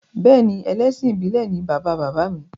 Bẹ́ẹ̀ni ẹlẹ́sìn ìbílè ni bàba bàbá mi